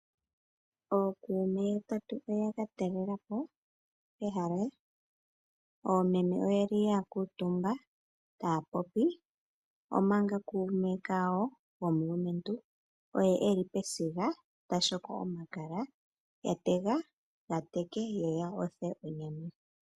Ookume yatatu oya katalelapo ehala oomeme oyeli yakuutumba taya popi omanga kume kawo komumati oye elu pesiga ta shoko omakala atega gateke yo ya othe onyama.